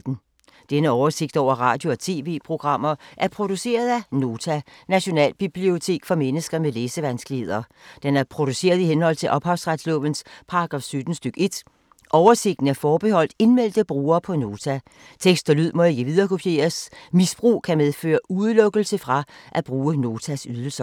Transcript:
Denne oversigt over radio og TV-programmer er produceret af Nota, Nationalbibliotek for mennesker med læsevanskeligheder. Den er produceret i henhold til ophavsretslovens paragraf 17 stk. 1. Oversigten er forbeholdt indmeldte brugere på Nota. Tekst og lyd må ikke viderekopieres. Misbrug kan medføre udelukkelse fra at bruge Notas ydelser.